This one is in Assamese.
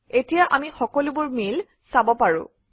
এতিয়া আমি সকলোবোৰ মেইল চাব পাৰোঁ